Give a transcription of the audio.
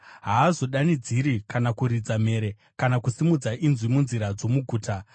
Haazodanidziri kana kuridza mhere, kana kusimudza inzwi munzira dzomuguta.